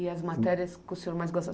E as matérias que o senhor mais gostava?